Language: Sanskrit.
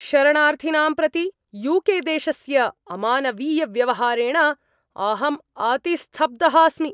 शरणार्थिनां प्रति यू के देशस्य अमानवीयव्यवहारेण अहम् अतिस्तब्धः अस्मि।